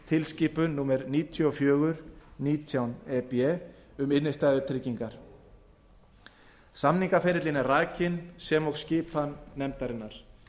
evróputilskipun númer níutíu og fjögur nítján e b um innstæðutryggingar samningaferillinn er rakinn sem og skipan nefndarinnar